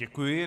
Děkuji.